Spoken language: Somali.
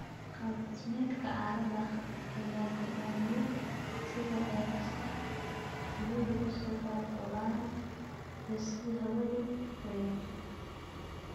Qaab dhismeedka carrada ayaa go'aamiya sida ceelasha biyuhu u soo qulqulaan iyo sida hawadu u wareegto.